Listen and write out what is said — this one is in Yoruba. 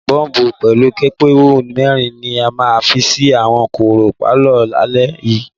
Gọ́ọ̀mù pekupeku mẹ́rin ni màá fi sí àwọn kọ̀rọ̀ pálọ̀ lálẹ́ yìí.